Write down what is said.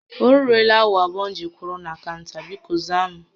O ruela awa abụọ m ji were kwụrụ na kaụnta, bikọ za m